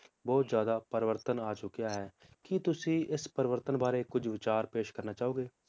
ਬਹੁਤ ਜ਼ਿਆਦਾ ਪਰਿਵਰਤਨ ਆ ਚੁਕਿਆ ਹੈ ਕੀ ਤੁਸੀਂ ਇਸ ਪਰਿਵਰਤਨ ਬਾਰੇ ਕੁਜ ਵਿਚਾਰ ਪੇਸ਼ ਕਰਨਾ ਚਾਹੋਗੇ?